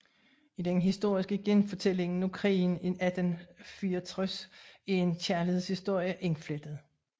I den historiske genfortælling af krigen i 1864 er en kærlighedshistorie indflettet